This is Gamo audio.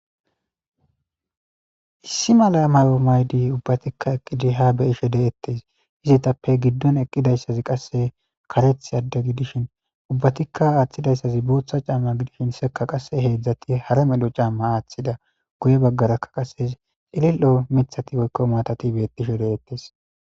issi mala mayo maydi ubbatikka eqqidi ha beyishe de'ettes izitappe giddon eqqidayssazi qasse kareth adde gidishin ubbatikka aaththidayssazi booththa camma gidishin sekka qasse heedzdzati hara melo camma aaththida guye baggarakka qase cilil'o mithati woykko matati beettishe deettes